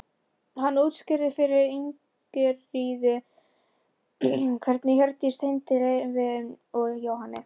Hann útskýrði fyrir Ingiríði hvernig Hjördís tengdist Leifi og Jóhanni.